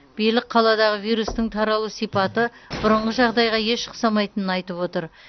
билік қаладағы вирустың таралу сипаты бұрынғы жағдайға еш ұқсамайтынын айтып отыр